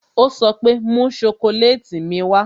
Ó sọ pé "Mú sokoleti mi wá"